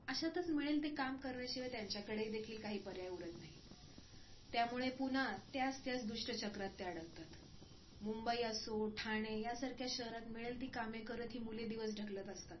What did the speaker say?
अशातच मिळेल ते काम करण्याशिवाय त्यांच्याकडेही देखील काही पर्याय उरत नाही. त्यामुळेच पुन्हा त्याच त्या दुष्टचक्रात ते अडकतात, मुंबई असो ठाणे यांसारख्या शहरात मिळेल ती कामे करत ही मुलं दिवस ढकलत असतात.